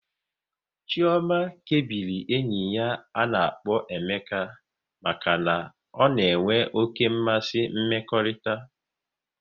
Chioma kebiri enyi ya na Emeka maka na ọ na-enwe oké mmasị mmekọrịta